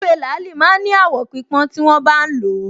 Ewé làálì máa ń ní àwọ̀ pípọ́n tí wọ́n bá ń lò ó